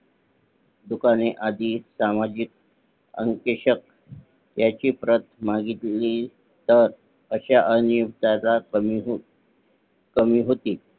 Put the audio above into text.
दुकाने आधी सामाजिक ह्याची प्रत मागितली तर अश्या अनियमित कमी होतील